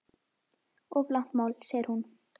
Of langt mál segir hún.